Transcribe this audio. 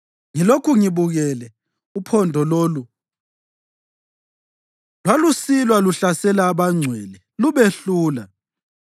Ngilokhu ngibukele, uphondo lolu lwalusilwa luhlasela abangcwele lubehlula,